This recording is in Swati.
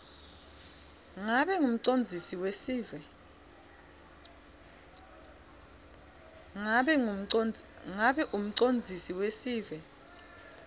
ngabe umcondzisi wesive